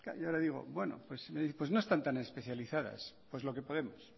ya le digo pues no están tan especializadas pues lo que podemos